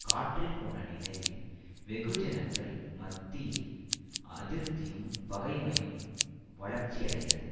காற்றில் போன நினையில் வெகுஜனங்கள் மத்தியில் அதிருப்தியும் பகைமையும் வளர்ச்சியடைந்தது